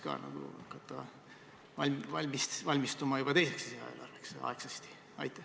Teaks ehk hakata teiseks lisaeelarveks aegsasti valmistuma.